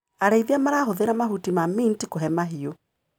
Arĩithia marahũthĩra mahuti ma mint kũhe mahiũ.